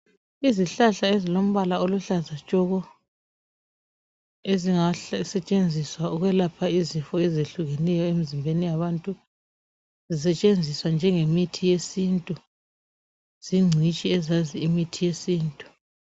Izihlahla ezilombala oluhlaza tshoko. Ezingasetshenziswa ukwelapha izifo ezitshiyeneyo emzimbeni yabantu . Zisetshenziswa njenge mithi yesintu zinchitshi ezazi ngemithi yesintu.